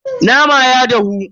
Naman ya dahu.